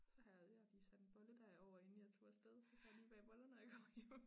Så har jeg jeg har lige sat en bolledej over inden jeg tog afsted så kan jeg lige bage boller når jeg kommer hjem